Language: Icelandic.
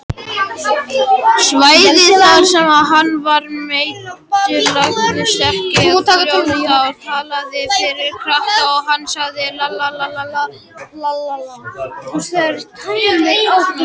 Svæðið þar sem hann var meiddur lagaðist ekki eins fljótt og við höfðum fyrst talið.